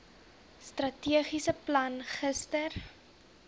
strategiese plan gister